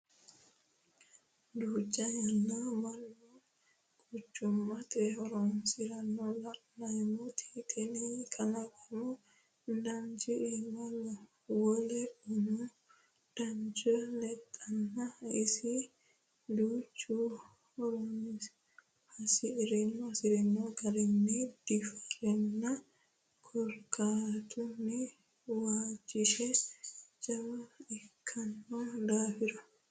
Duucha yanna mannu quchumate harunsanna la'nanni tene kalaqamu dananchi iima wole umu danancho lexinaniha iso duuchu hasirino garinni diafirano korkaatuno waagisi jawa ikkino daafira.